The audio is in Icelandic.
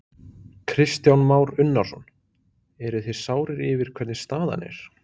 Kristján Már Unnarsson: Eruð þið sárir yfir hvernig staðan er?